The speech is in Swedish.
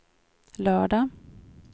lördag